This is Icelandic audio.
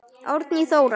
Árný Þóra.